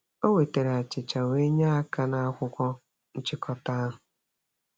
O wetara achịcha wee nye aka nakwụkwọ nchịkọta ahụ.